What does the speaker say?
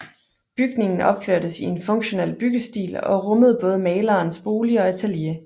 Bygningen opførtes i en funktional byggestil og rummede både malerens bolig og atelier